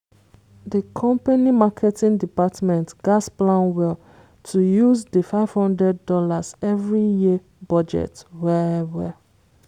di company marketing department gatz plan well to use di fifty thousand dollars0 every year budget well-well